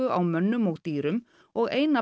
á mönnum og dýrum og eina